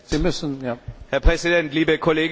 Herr Präsident, liebe Kolleginnen und Kollegen!